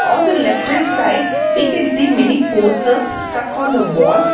On the left hand side we can see many posters stuck on the wall.